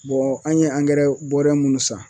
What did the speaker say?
Bɔn an ye angɛrɛ bɔrɔ mun san